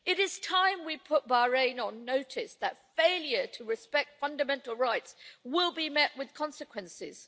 It is time we put Bahrain on notice that failure to respect fundamental rights will be met with consequences.